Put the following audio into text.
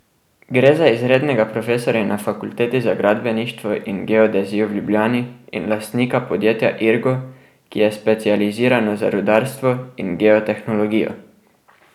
Gre za izrednega profesorja na Fakulteti za gradbeništvo in geodezijo v Ljubljani in lastnika podjetja Irgo, ki je specializirano za rudarstvo in geotehnologijo.